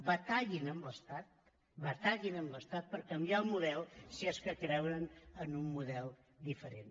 batallin amb l’estat batallin amb l’estat per canviar el model si és que creuen en un model diferent